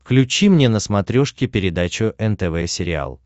включи мне на смотрешке передачу нтв сериал